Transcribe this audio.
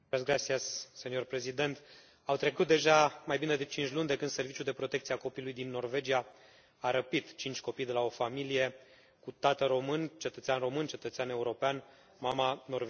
Domnule președinte, au trecut deja mai bine de cinci luni de când Serviciul de Protecție a Copilului din Norvegia a răpit cinci copii de la o familie cu tată român, cetățean român, cetățean european, mama, norvegiană.